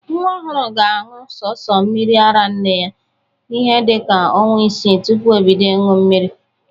Nwa ọhụrụ ga-aṅụ sọsọ mmiri ara nne ya ihe dịka ọnwa isii tụpụ o bido ịñụ mmiri.